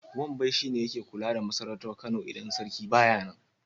Wambai shi ne yake kula da masarautar Kano idan sarki ba ya nan.